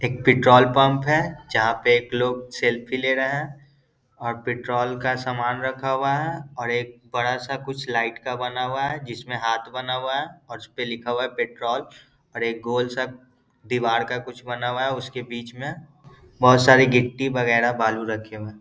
एक petrol pump है जहाँ पे एक लोग सेल्फी ले रहे है और पेट्रोल का सामान रखा हुआ है और एक बड़ा सा कुछ लाइट का बना हुआ जिसमे हाथ बना हुआ और उसपे लिखा हुआ है पेट्रोल और एक गोल सा दीवार का कुछ बना हुआ है उसके बीच में बहुत सारी गिट्टी वगेरा बालू रखे हुए।